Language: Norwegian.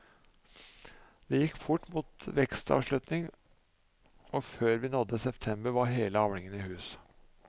Det gikk fort mot vekstavslutning og før vi nådde september var hele avlinga i hus.